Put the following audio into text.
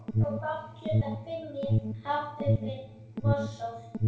Sögðum fátt klukkan fimm í hátt uppi vorsól.